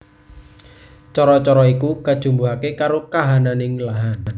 Cara cara iku kajumbuhake karo kahananing lahan